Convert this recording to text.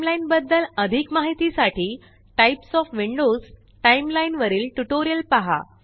timeline बद्दल अधिक माहिती साठी टाइप्स ओएफ विंडोज टाइमलाईन वरील ट्यूटोरियल पहा